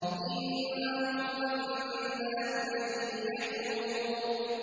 إِنَّهُ ظَنَّ أَن لَّن يَحُورَ